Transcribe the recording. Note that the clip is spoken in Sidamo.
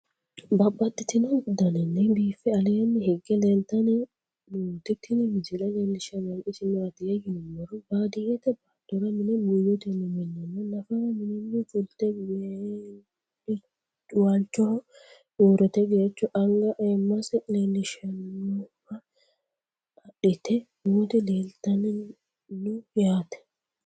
Babaxxittinno daninni biiffe aleenni hige leelittannotti tinni misile lelishshanori isi maattiya yinummoro baadiyeette baattora mine buuyottenni mineenna naffara mininni fulitte walichoho uuritte geericho anga ayiimase leelishshannoha adhitte nootti leelittanno yaatte